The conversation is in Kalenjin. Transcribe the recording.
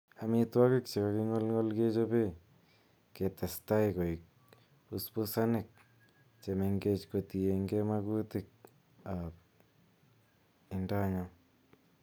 Amitwogik che kakingolngol kechobe ketesteai koik busbusanik che mengech kotienge makutik ab indonyo.